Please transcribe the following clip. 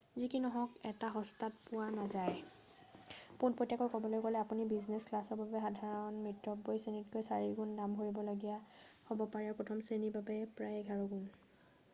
যি কি নহওক এইটো সস্তাত পোৱা নাযায় পোনপটীয়াকৈ ক'বলৈ গ'লে আপুনি বিজনেছ ক্লাছৰ বাবে সাধাৰণ মিতব্যয়ীশ্ৰেণীতকৈ চাৰিগুণ দাম ভৰিব লগীয়া হ'ব পাৰে আৰু প্ৰথম শ্ৰেণীৰ বাবে প্ৰায় এঘাৰ গুণ